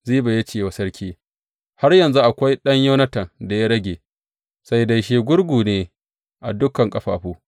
Ziba ya ce wa sarki, Har yanzu akwai ɗan Yonatan da ya rage, sai dai shi gurgu ne a dukan ƙafafu.